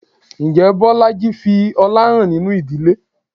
Ǹjẹ́ Bolaji fi ọlá hàn nínú ìdílé?